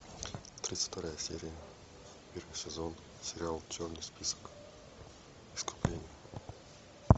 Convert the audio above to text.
тридцать вторая серия первый сезон сериал черный список искупление